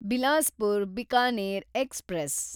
Bilaspur Bikaner express